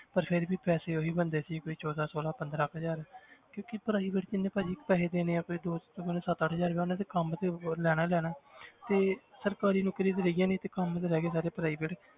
ਪਰ ਫਿਰ ਵੀ ਪੈਸੇ ਉਹੀ ਬਣਦੇ ਸੀ ਕੋਈ ਚੌਦਾਂ ਛੋਲਾਂ ਪੰਦਰਾਂ ਕੁ ਹਜ਼ਾਰ ਕਿਉਂਕਿ private 'ਚ ਇੰਨੇ ਭਾਜੀ ਪੈਸੇ ਦੇਣੇ ਆਂ ਤੇ ਮੈਨੂੰ ਸੱਤ ਅੱਠ ਹਜ਼ਾਰ ਹੀ ਆ ਉਹਨੇ ਕੰਮ ਤੇ ਲੈਣਾ ਹੀ ਲੈਣਾ ਹੈ ਤੇ ਸਰਕਾਰੀ ਨੌਕਰੀਆਂ ਤਾਂ ਰਹੀਆਂ ਨੀ ਤੇ ਕੰਮ ਤੇ ਰਹਿ ਗਏ ਸਾਰੇ private